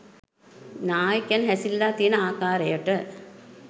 නායකයන් හැසිරිලා තියෙන ආකාරයට